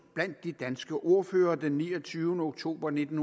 blandt de danske ordførere den niogtyvende oktober nitten